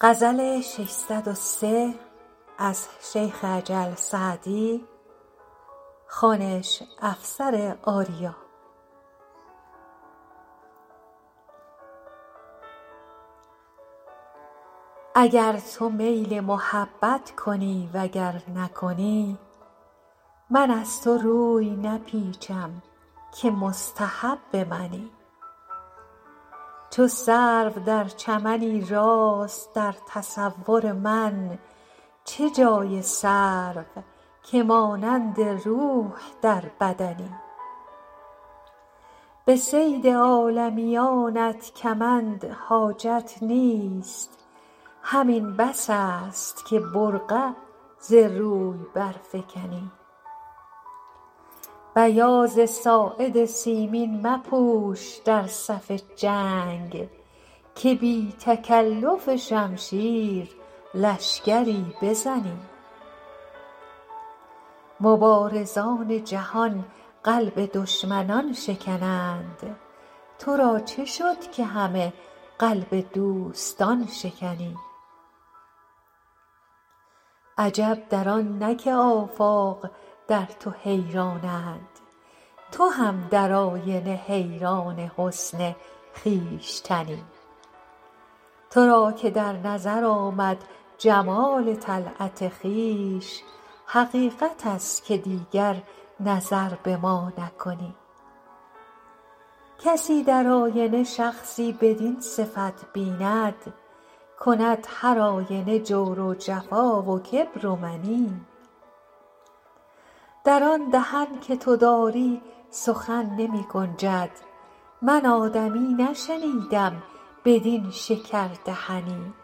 اگر تو میل محبت کنی و گر نکنی من از تو روی نپیچم که مستحب منی چو سرو در چمنی راست در تصور من چه جای سرو که مانند روح در بدنی به صید عالمیانت کمند حاجت نیست همین بس است که برقع ز روی برفکنی بیاض ساعد سیمین مپوش در صف جنگ که بی تکلف شمشیر لشکری بزنی مبارزان جهان قلب دشمنان شکنند تو را چه شد که همه قلب دوستان شکنی عجب در آن نه که آفاق در تو حیرانند تو هم در آینه حیران حسن خویشتنی تو را که در نظر آمد جمال طلعت خویش حقیقت است که دیگر نظر به ما نکنی کسی در آینه شخصی بدین صفت بیند کند هرآینه جور و جفا و کبر و منی در آن دهن که تو داری سخن نمی گنجد من آدمی نشنیدم بدین شکردهنی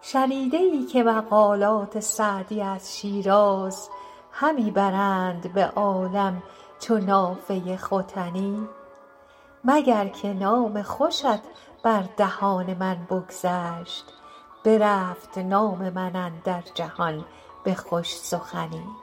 شنیده ای که مقالات سعدی از شیراز همی برند به عالم چو نافه ختنی مگر که نام خوشت بر دهان من بگذشت برفت نام من اندر جهان به خوش سخنی